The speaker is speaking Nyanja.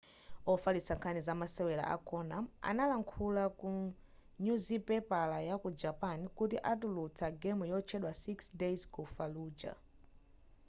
ofalitsa nkhani za masewera a konami analankhula ku nyuzipapala ya ku japan kuti atulutsa game yotchedwa six days ku falluja